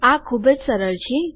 આ ખુબ જ સરળ છે